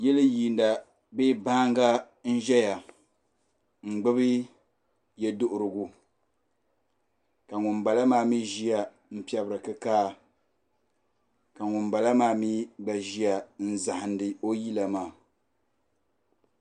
Yili yiina bee baanga n ʒiya n gbubi yeduhirigu ka ŋun bala maa mi ʒiya n piɛbiri kikaa ka ŋun bala maa mi ʒiya n zahindi o yila maa.